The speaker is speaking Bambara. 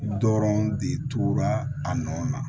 Dɔrɔn de tora a nɔ na